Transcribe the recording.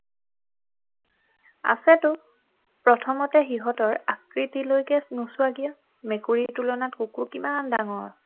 আছেতো প্ৰথমতে সিহঁতৰ আকৃতিলৈকে নোচোৱা কিয় মেকুৰীৰ তুলনাত কুকুৰ কিমান ডাঙৰ